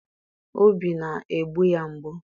obi na-egbu ya mgbu.